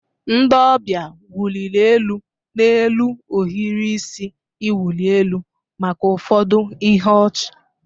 Ndị ọbịa wụliri elu n'elu ohiri isi iwụli elu maka ụfọdụ ihe ọchị.